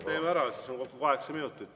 Teeme ära, siis on kokku kaheksa minutit.